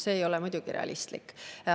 See ei ole muidugi realistlik.